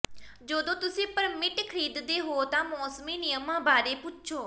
ਜਦੋਂ ਤੁਸੀਂ ਪਰਮਿਟ ਖਰੀਦਦੇ ਹੋ ਤਾਂ ਮੌਸਮੀ ਨਿਯਮਾਂ ਬਾਰੇ ਪੁੱਛੋ